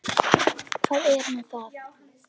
Hvað er nú það?